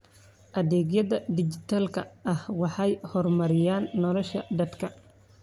Adeegyada dijitaalka ah waxay horumariyaan nolosha dadka.